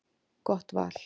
Gott val.